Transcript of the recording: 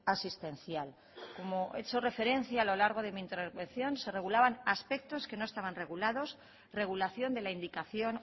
asistencial como he hecho referencia a lo largo de mi intervención se regulaban aspectos que no estaban regulados regulación de la indicación